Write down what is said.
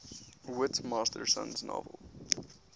whit masterson's novel